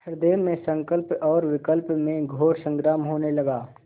हृदय में संकल्प और विकल्प में घोर संग्राम होने लगा